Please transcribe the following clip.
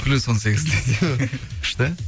плюс он сегіз десең күшті